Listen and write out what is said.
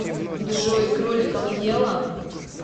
джой кроликов ела